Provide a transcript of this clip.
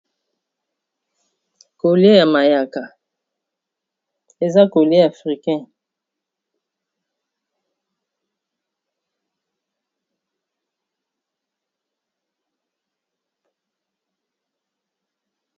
Coli ya mayaka eza colie ya africain